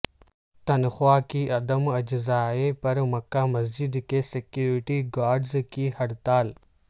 تنخواہ کی عدم اجرائی پر مکہ مسجد کے سیکوریٹی گارڈز کی ہڑتال